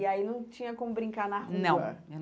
E aí não tinha como brincar na rua? Não